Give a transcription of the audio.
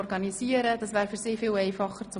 Damit würde das Dolmetschen erleichtert.